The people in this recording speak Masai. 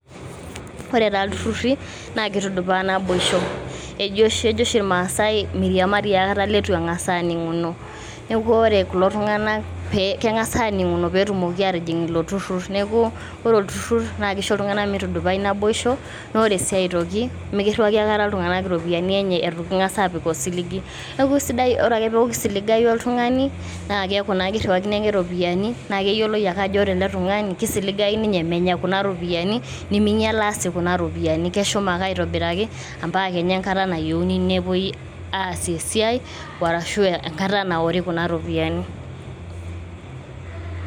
ore taa iltururi, naa kitudupaa naboisho, ejo oshi ilmaasae, miriamari aikata ileitu eng'as aaning'uno, neeku ore kulo tung'anak keng'as aaning'uno, pee etumoki aatijing' ilo turur. neeku ore olturur naa kisho iltung'anak mitudupai naboisho, naa ore sii aitoki, mikiriwaki aikata iltung'anak iropiyiani enye eitu king'as aapik osiligi. kake ore ake pee eeku kisiligayu oltung'ani. keeku kiriwakini ake ropiyiani. naa keyioloi ake ajo ore ele tung'ani kisiligayu ninye menya kuna ropiyiani, neming'ilaa sii kuna ropiyiani, keshum ake aitobiraki mpaka enkata naori kuna ropiyiani.